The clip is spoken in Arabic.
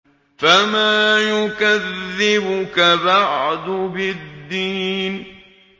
فَمَا يُكَذِّبُكَ بَعْدُ بِالدِّينِ